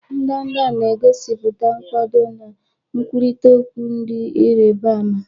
Ndanda na-egosipụta nkwado na nkwurịta okwu dị ịrịba ama.